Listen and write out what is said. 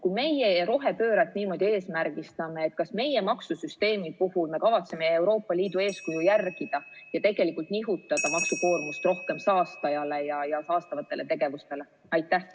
Kui meie rohepööret niimoodi eesmärgistame, siis kas meie oma maksusüsteemi puhul kavatseme Euroopa Liidu eeskuju järgida ja nihutada maksukoormust rohkem saastajatele ja saastavatele tegevustele?